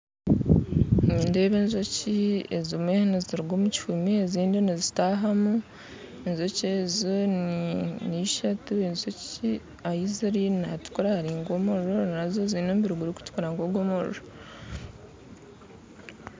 Nindeeba enjoki ezimwe niziruga omu kihoomi ezindi nizitahamu enjoki ezi n'eishatu enjoki ahi ziri nihatukura hari nk'omuriro nazo ziine omubiri gurikutukura nk'ogw'omuriro